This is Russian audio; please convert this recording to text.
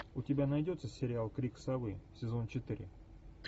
у тебя найдется сериал крик совы сезон четыре